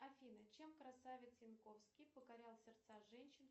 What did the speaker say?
афина чем красавец янковский покорял сердца женщин